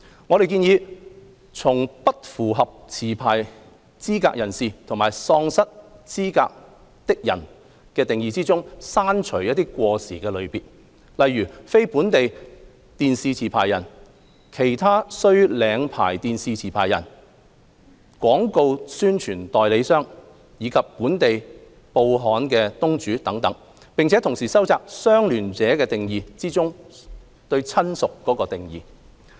我們建議從"不符合持牌資格人士"及"喪失資格的人"的定義中，刪除過時的類別，例如"非本地電視持牌人"、"其他須領牌電視持牌人"、"廣告宣傳代理商"，以及"本地報刊東主"等，並同時收窄"相聯者"定義中"親屬"的範圍。